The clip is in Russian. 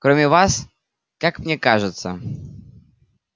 кроме вас как мне кажется